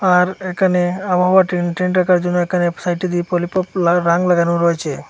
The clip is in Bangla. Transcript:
আর একানে আবহাওয়া রাখার জন্য একানে সাইডে লাগানো রয়েছে।